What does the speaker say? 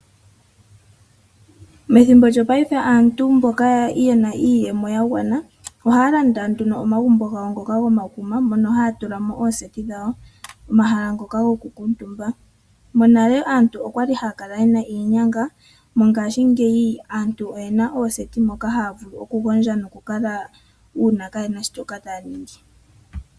Methimbo lyo paife aantu mboka yena iiyemo ya gwana ohaya landa nduno omagumbo gawo ngoka gomakuma mono haya tula mo ooseti dhawo, omahala ngono goku kuutumba. Monale aantu okwali haya kala yena iinyanga, mongashingeyi aantu oyena ooseti moka haya vulu okugondja noku kala uuna kaye na shoka taya ningi.